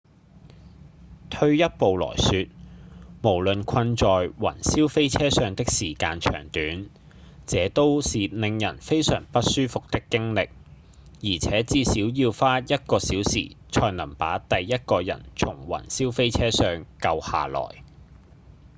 退一步來說無論困在雲霄飛車上的時間長短這都是令人非常不舒服的經歷而且至少要花一個小時才能把第一個人從雲霄飛車上救下來」